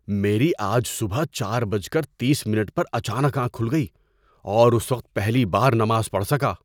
میری آج صبح چار بج کر تیس منٹ پر اچانک آنکھ کھل گئی اور اس وقت پہلی بار نماز پڑھ سکا۔